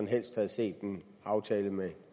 helst havde set en aftale med